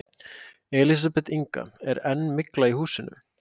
Elísabet Inga: Er enn mygla í húsinu?